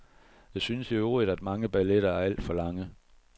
Jeg synes i øvrigt, at mange balletter er alt for lange.